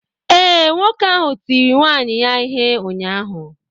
Ee, nwoke ahụ tiri nwunye ya ihe ụnyaahụ.